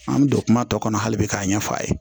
An bɛ don kuma tɔ kɔnɔ hali bi k'a ɲɛ f'a ye